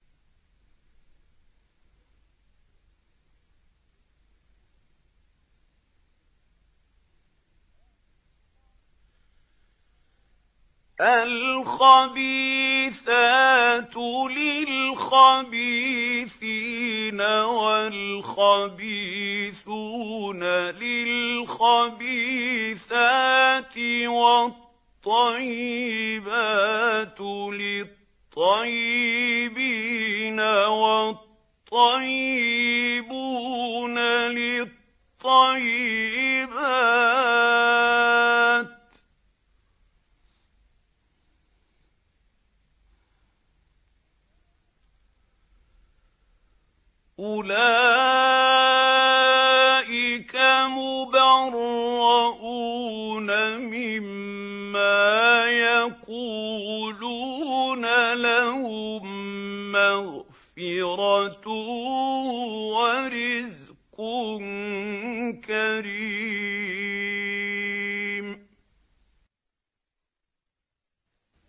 الْخَبِيثَاتُ لِلْخَبِيثِينَ وَالْخَبِيثُونَ لِلْخَبِيثَاتِ ۖ وَالطَّيِّبَاتُ لِلطَّيِّبِينَ وَالطَّيِّبُونَ لِلطَّيِّبَاتِ ۚ أُولَٰئِكَ مُبَرَّءُونَ مِمَّا يَقُولُونَ ۖ لَهُم مَّغْفِرَةٌ وَرِزْقٌ كَرِيمٌ